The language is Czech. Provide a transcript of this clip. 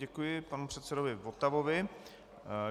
Děkuji panu předsedovi Votavovi.